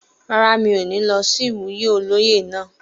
Rárá, mi ó ní lọ sí ìwúyè olóyè náà